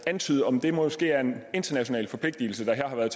antyde om det måske er en international forpligtelse der her har været